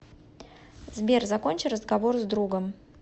сбер закончи разговор с другом